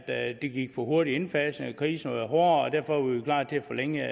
at det gik for hurtigt i indfasningen at krisen var hårdere og derfor var vi klar til at forlænge